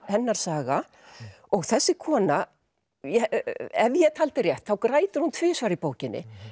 hennar saga og þessi kona ef ég taldi rétt þá grætur hún tvisvar í bókinni